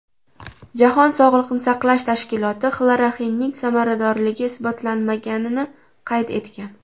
Jahon sog‘liqni saqlash tashkiloti xloroxinning samaradorligi isbotlanmaganini qayd etgan.